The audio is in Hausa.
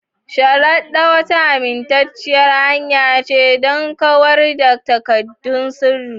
Shredders wata amintacciyar hanya ce don kawar da takaddun sirri.